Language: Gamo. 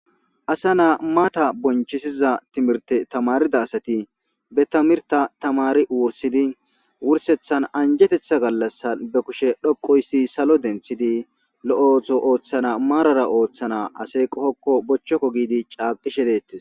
Asa naa mata bonchisiza timirte tamarida asati be tamirta tamari wossidi wursethan anjetetha gallassan be kushe dhoqo histi salo denthidi lo'ootho ooththana maarara ooththana ase qohokko bochchokko giidi caaqishe deettes,